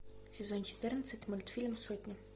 сезон четырнадцать мультфильм сотня